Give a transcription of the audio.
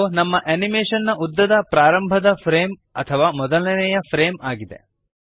ಇದು ನಮ್ಮ ಅನಿಮೇಶನ್ ನ ಉದ್ದದ ಪ್ರಾರಂಭದ ಫ್ರೇಮ್ ಅಥವಾ ಮೊದಲನೆಯ ಫ್ರೇಮ್ ಆಗಿದೆ